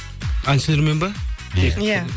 әншілермен бе иә